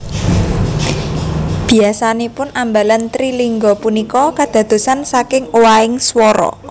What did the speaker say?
Biasanipun ambalan trilingga punika kadadosan saking owahing swara